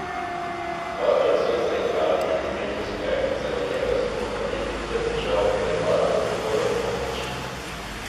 Dvakrat so jo zaigrali in imeli uspeh, celo njega so pohvalili, da je držal helebardo tako lepo navpično.